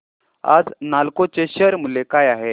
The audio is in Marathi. आज नालको चे शेअर मूल्य काय आहे